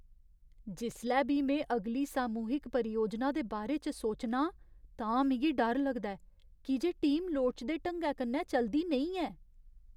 जिसलै बी में अगली सामूहिक परियोजना दे बारे च सोचना आं तां मिगी डर लगदा ऐ की जे टीम लोड़चदे ढंगै कन्नै चलदी नेईं ऐ।